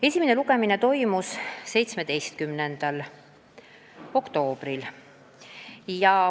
Esimene lugemine toimus 17. oktoobril.